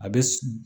A bɛ